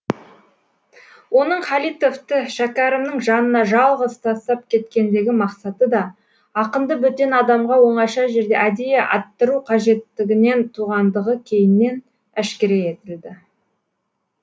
оның халитовты шәкәрімнің жанына жалғыз тастап кеткендегі мақсаты да ақынды бөтен адамға оңаша жерде әдейі аттыру қажеттігінен туғандығы кейіннен әшкере етілді